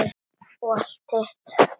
Og allt hitt.